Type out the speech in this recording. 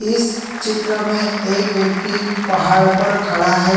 इस चित्र में एक व्यक्ति पहाड़ पर खड़ा है।